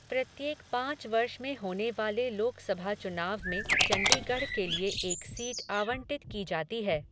प्रत्येक पाँच वर्ष में होने वाले लोकसभा चुनाव में चंडीगढ़ के लिए एक सीट आवंटित की जाती है।